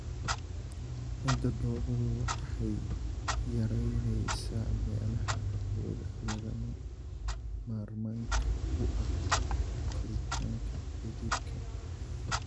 Ciidda dhoobadu waxay yaraynaysaa meelaha hawada lagama maarmaanka u ah koritaanka xididka.